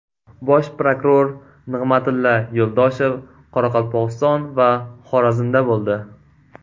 Bosh prokuror Nig‘matilla Yo‘ldoshev Qoraqalpog‘iston va Xorazmda bo‘ldi.